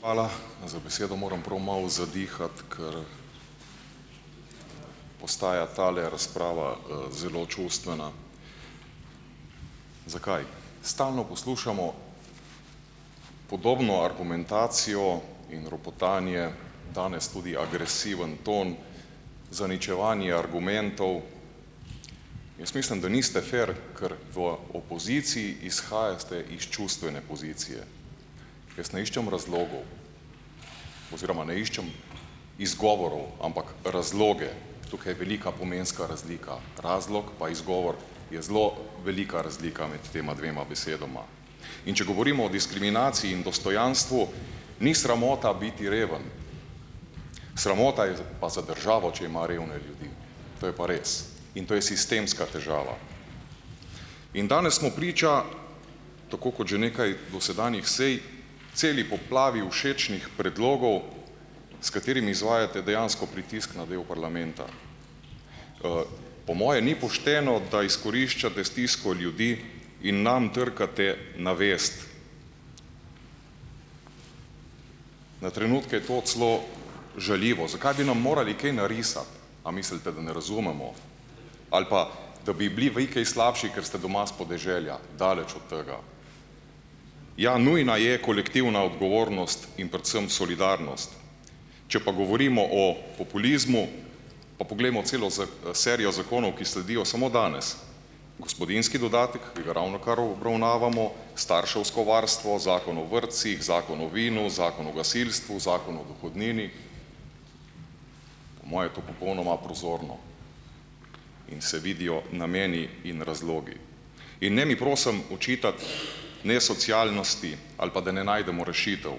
Hvala za besedo. Moram prav malo zadihati, ker postaja tale razprava, zelo čustvena. Zakaj? Stalno poslušamo podobno argumentacijo in ropotanje danes tudi agresiven ton, zaničevanje argumentov. Jaz mislim, da niste fer, ker v opoziciji izhajate iz čustvene pozicije. Jaz ne iščem razlogov oziroma ne iščem izgovorov, ampak razloge. Tukaj je velika pomenska razlika - razlog pa izgovor je zelo velika razlika med tema dvema besedama, in če govorimo o diskriminaciji in dostojanstvu, ni sramota biti reven, sramota je pa za državo, če ima revne ljudi, to je pa res in to je sistemska težava. In danes smo priča, tako kot že nekaj dosedanjih sej, celi poplavi všečnih predlogov, s katerimi izvajate dejansko pritisk na del parlamenta. po moje ni pošteno, da izkoriščate stisko ljudi in nam trkate na vest, na trenutke to celo žaljivo. Zakaj bi nam morali kaj narisati? A mislite, da ne razumemo ali pa, da bi bili vi kaj slabši, ker ste doma s podeželja? Daleč od tega. Ja, nujna je kolektivna odgovornost in predvsem solidarnost, če pa govorimo o populizmu, pa poglejmo celo serijo zakonov, ki sledijo samo danes - gospodinjski dodatek, ki ga ravnokar obravnavamo, starševsko varstvo, Zakon o vrtcih, Zakon o vinu, Zakon o gasilstvu, Zakon o dohodnini, po moje je to popolnoma prozorno in se vidijo nameni in razlogi. In ne mi prosim očitati nesocialnosti, ali pa da ne najdemo rešitev.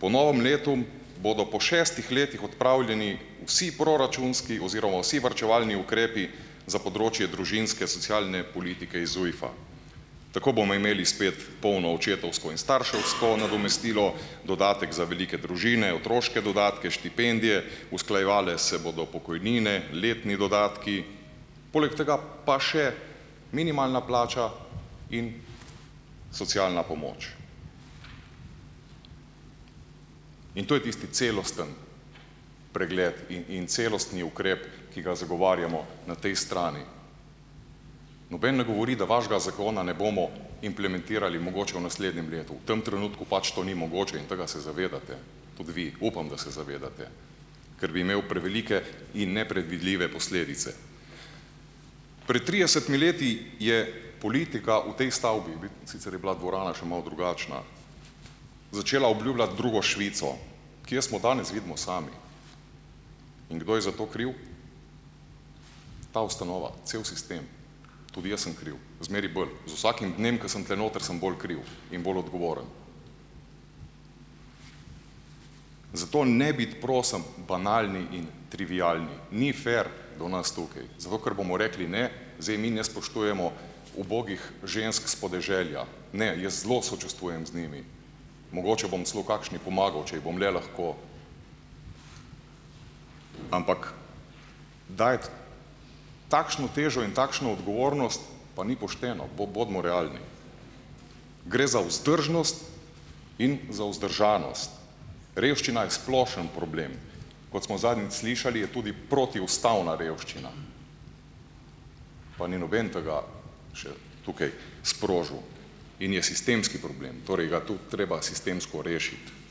Po novem letu bodo po šestih letih odpravljeni vsi proračunski oziroma vsi varčevalni ukrepi za področje družinske, socialne politike iz ZUJF-a. Tako bomo imeli spet polno očetovsko in starševsko nadomestilo, dodatek za velike družine, otroške dodatke, štipendije, usklajevale se bodo pokojnine, letni dodatki, poleg tega pa še minimalna plača in socialna pomoč. In to je tisti celostni pregled in in celostni ukrep, ki ga zagovarjamo na tej strani. Noben ne govori, da vašega zakona ne bomo implementirali, mogoče v naslednjem letu, v tem trenutku pač to ni mogoče in tega se zavedate tudi vi, upam, da se zavedate, ker bi imel prevelike in nepredvidljive posledice. Pred tridesetimi leti je politika v tej stavbi, sicer je bila dvorana še malo drugačna, začela obljubljati drugo Švico. Kje smo danes, vidimo sami. In kdo je za to kriv? Ta ustanova, cel sistem, tudi jaz sem kriv, zmeraj bolj, z vsakim dnem, ko sem tule noter, sem bolj kriv in bolj odgovoren. Zato ne biti prosim banalni in trivialni, ni fer do nas tukaj. Zato, ker bomo rekli "ne", zdaj mi ne spoštujemo ubogih žensk s podeželja. Ne, jaz zelo sočustvujem z njimi, mogoče bom celo kakšni pomagal, če ji bom le lahko, ampak dajati takšno težo in takšno odgovornost pa ni pošteno, bodimo realni. Gre za vzdržnost in za vzdržanost. Revščina je splošen problem, kot smo zadnjič slišali, je tudi protiustavna revščina, pa ni noben tega še tukaj sprožil, in je sistemski problem, torej ga tudi treba sistemsko rešiti.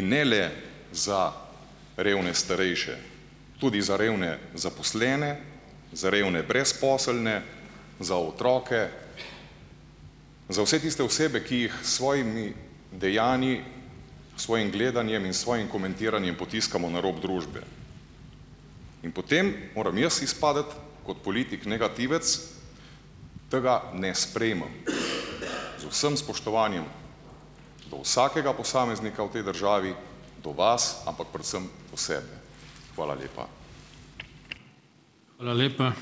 In ne le za revne starejše, tudi za revne zaposlene, za revne brezposelne, za otroke, za vse tiste osebe, ki jih s svojimi dejanji, s svojim gledanjem in s svojim komentiranjem potiskamo na rob družbe in potem moram jaz izpasti kot politik negativec, tega ne sprejmem. Z vsem spoštovanjem do vsakega posameznika v tej državi, do vas, ampak predvsem do sebe. Hvala lepa.